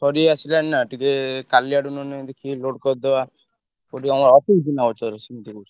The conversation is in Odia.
ସାରିଆସିଲାଣି ନା ଟିକେ କାଲି ଆଡକୁ ନହେଲେ ଦେଖି load କରିଦବା। କୋଉଠି ତମର ଅଛନ୍ତି ଚିହ୍ନା ପରିଚୟ ଅଛନ୍ତି କୋଉଠି?